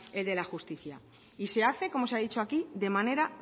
el de la justicia y se hace como se ha dicho aquí de manera